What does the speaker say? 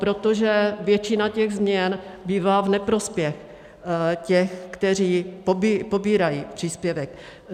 Protože většina těch změn bývá v neprospěch těch, kteří pobírají příspěvek.